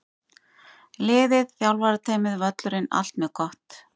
Liðið, þjálfarateymið, völlurinn- allt mjög gott!